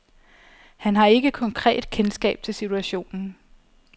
Han har ikke konkret kendskab til situationen.